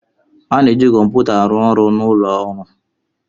A na-eji kọmputa arụ ọrụ n'ụlọ ọrụ.